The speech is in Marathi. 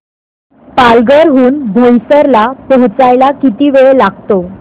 पालघर हून बोईसर ला पोहचायला किती वेळ लागतो